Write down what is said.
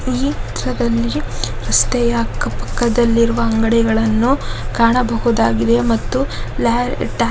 ಇದು ಚಿತ್ರದಲ್ಲಿ ರಸ್ತೆಯ ಅಕ್ಕಪಕ್ಕದಲ್ಲಿರುವ ಅಂಗಡಿಗಳನ್ನು ಕಾಣಬಹುದಾಗಿದೆ ಮತ್ತು